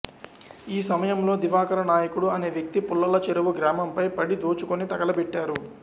ఆ సమయంలో దివాకర నాయకుడు అనే వ్యక్తి పుల్లల చెరువు గ్రామంపై పడి దోచుకుని తగలబెట్టారు